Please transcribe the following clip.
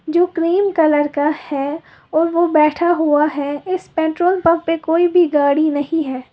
जो cream colour का है और वह बैठा हुआ है इस पेट्रोल पंप पर कोई भी गाड़ी नहीं है।